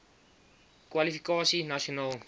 nkr kwalifikasie nasionaal